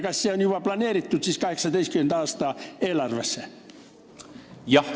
Kas see on juba planeeritud 2018. aasta eelarvesse?